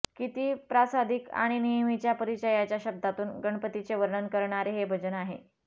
किती प्रासादिक आणि नेहमीच्या परिचयाच्या शब्दातून गणपतीचे वर्णन करणारे हे भजन आहे